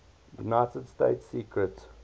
united states secret